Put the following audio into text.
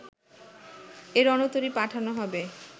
এ রণতরী পাঠানো হবে